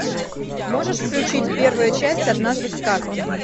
можешь включить первая часть однажды в сказке